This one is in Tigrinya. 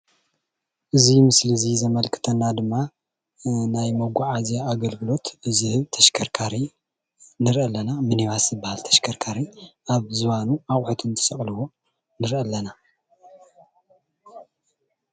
እዚ ምስሊ እዚ ዘመልክተና ድማ ናይ መጓዓዝያ ኣገልግሎት ዝህብ ተሽከርካሪ ንሪኢ ኣለና፡፡ ሚኒባስ ዝባሃል ተሽከርካሪ ኣብ ዝባኑ ኣቑሑት እንትሰቕልዎ ንሪኢ ኣለና፡፡